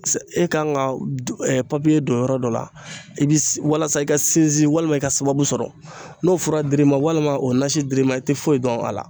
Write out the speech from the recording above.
E kan ka du papiye don yɔrɔ dɔ la i bi walasa i ka sinsin walima i ka sababu sɔrɔ n'o fura dir'i ma walima o nasi dir'i ma i tɛ foyi dɔn a la.